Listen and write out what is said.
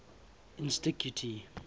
insticuti